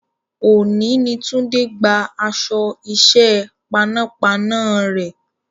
Òní ni Tunde gba aṣọ iṣẹ́ panápaná rẹ̀